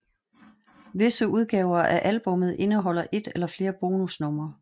Visse udgaver af albummet indeholder et eller flere bonusnumre